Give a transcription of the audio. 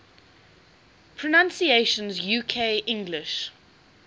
pronunciations uk english